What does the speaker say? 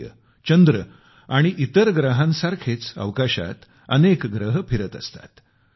सूर्य चंद्र आणि इतर ग्रहांसारखेच अवकाशात अनेक ग्रह फिरत असतात